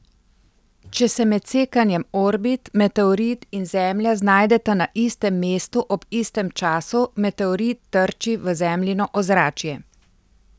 Če se med sekanjem orbit meteoroid in Zemlja znajdeta na istem mestu ob istem času, meteoroid trči v Zemljino ozračje.